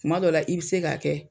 Kuma dɔw la, i bi se ka kɛ